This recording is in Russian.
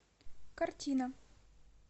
картина